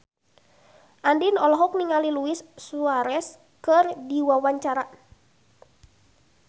Andien olohok ningali Luis Suarez keur diwawancara